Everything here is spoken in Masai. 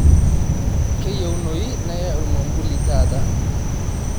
kaayieunoyu naya ormambuli taata